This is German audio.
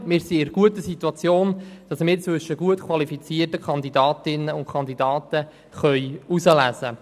Wir befinden uns in der guten Situation, dass wir unter gut qualifizierten Kandidatinnen und Kandidaten auswählen können.